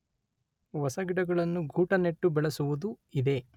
ಹೊಸ ಗಿಡಗಳನ್ನು ಗೂಟನೆಟ್ಟು ಬೆಳೆಸುವುದೂ ಇದೆ.